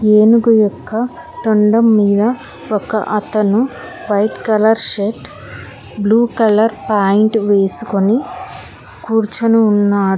ఏనుగు యొక్క తొండం మీద ఒక అతను white colour shirt blue colour pant వేసుకొని కూర్చొని ఉన్న --